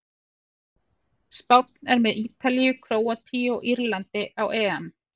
Spánn er með Ítalíu, Króatíu og Írlandi á EM.